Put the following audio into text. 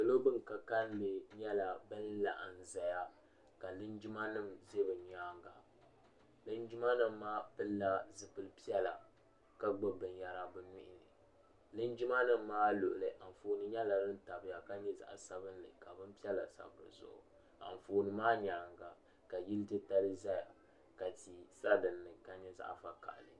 salo din ka kalinli nyɛla din laɣim n-zaya ka linjimanima ʒe bɛ nyaaga linjimanima maa pilila zupil' piɛla ka gbubi binyɛra bɛ nuhi ni linjimanima maa luɣili gooni nyɛla din zaya ka nyɛ zaɣ' sabinli ka gooni maa nyaaga ka yil' titali ʒeya ka tia sa din ni.